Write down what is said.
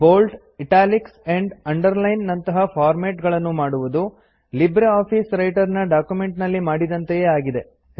bold italics and underline ನಂತಹ format ಗಳನ್ನು ಮಾಡುವುದು ಲಿಬ್ರಿಆಫಿಸ್ ವ್ರೈಟರ್ ನ ಡಾಕ್ಯುಮೆಂಟ್ ನಲ್ಲಿ ಮಾಡಿದಂತೆಯೇ ಆಗಿದೆ